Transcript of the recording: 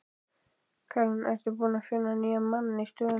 Karen: Ertu búinn að finna nýjan mann í stöðuna?